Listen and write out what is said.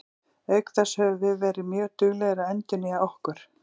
Auk þess höfum við verið mjög duglegir að endurnýja okkur.